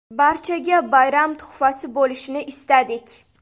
Barchaga bayram tuhfasi bo‘lishini istadik.